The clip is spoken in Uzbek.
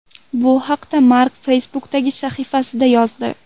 Bu haqda Mark Facebook’dagi sahifasida yozdi.